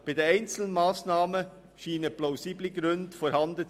Bei den einzelnen Massnahmen scheinen plausible Gründe vorzuliegen.